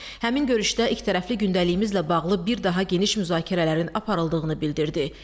Həmin görüşdə ikitərəfli gündəliyimizlə bağlı bir daha geniş müzakirələrin aparıldığını bildirdi.